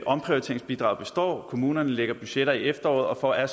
omprioriteringsbidraget består kommunerne lægger budgetter i efteråret og er